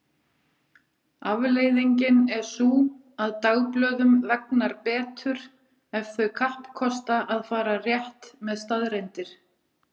Afleiðingin er sú að dagblöðum vegnar betur ef þau kappkosta að fara rétt með staðreyndir.